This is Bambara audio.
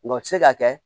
Nka o se ka kɛ